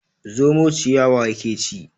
Zomo ciyawa yake ci.